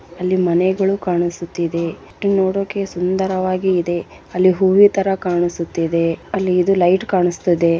ಅಲ್ಲಿ ಮನೆಗಳು ಕಾಣಿಸ್ತಾ ಇದೆ ಇದು ನೋಡೋಕೆ ಸುಂದರವಾಗಿ ಇದೆ ಅಲ್ಲಿ ಹೂವಿನ ತರ ಕಾಣಿಸ್ತಾ ಇದೆ ಅಲ್ಲಿ ಇದು ಲೈಟ್‌ ಕಾಣಿಸ್ತಾ ಇದೆ